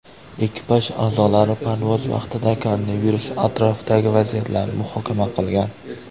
Ekipaj a’zolari parvoz vaqtida koronavirus atrofidagi vaziyatlarni muhokama qilgan .